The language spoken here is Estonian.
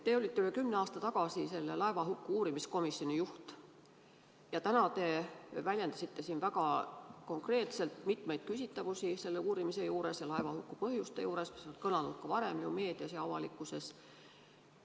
Te olite üle kümne aasta tagasi selle laevahuku uurimiskomisjoni juht ja täna te väljendasite siin väga konkreetselt mitmeid küsitavusi selle uurimise juures ja laevahuku põhjuste juures, mis on kõlanud ka varem meedias ja avalikkuses.